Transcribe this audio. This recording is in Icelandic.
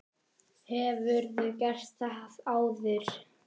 Hefurðu gert það áður?